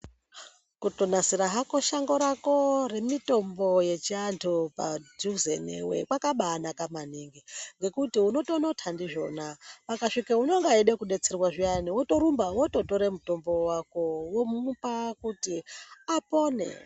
Kutonasira hako shango rako remitombo yechi anthu padhuze newe kwakabaanaka maningi. Ngekuti unotonotha ndizvona, pakaguma unenga eida kudetserwa zviyani wotorumba wototore mutombo wako, womupa kuti apone.